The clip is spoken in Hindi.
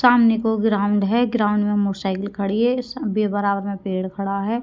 सामने को ग्राउंड है ग्राउंड में मोटरसाइकिल खड़ी है बराबर में पेड़ खड़ा है।